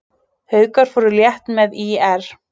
Haukar fóru létt með ÍR